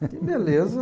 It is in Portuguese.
Que beleza!